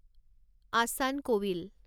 আচান ক'ৱিল